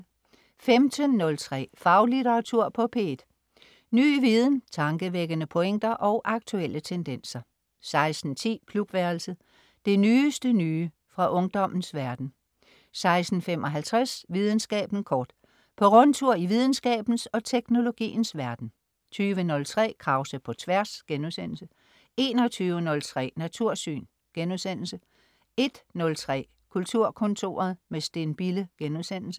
15.03 Faglitteratur på P1. Ny viden, tankevækkende pointer og aktuelle tendenser 16.10 Klubværelset. Det nyeste nye fra ungdommens verden 16.55 Videnskaben kort. På rundtur i videnskabens og teknologiens verden 20.03 Krause på Tværs* 21.03 Natursyn* 01.03 Kulturkontoret, med Steen Bille*